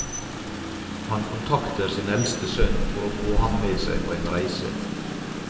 Han kontakter sin eldste sønn for å få ham med seg på en reise.